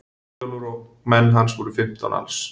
Eyjólfur og menn hans voru fimmtán alls.